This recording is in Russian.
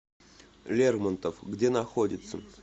лермонтов где находится